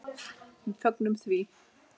Við fögnum því.